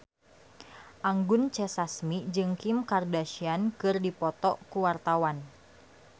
Anggun C. Sasmi jeung Kim Kardashian keur dipoto ku wartawan